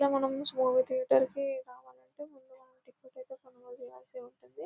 ఇలా మనము movie theatre కి రావాలంటే ముందుగా టికెట్ ఐతే కొనవలసి ఉంటుంది.